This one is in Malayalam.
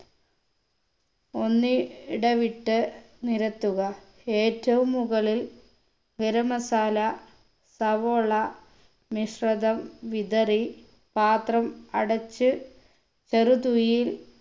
ഒന്നി ടവിട്ട് നിരത്തുക ഏറ്റവും മുകളിൽ ഗരം masala സവോള മിശ്രിതം വിതറി പാത്രം അടച്ച് ചെറു തീയിൽ